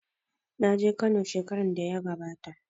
Na je Kano shekaran da ya gabata.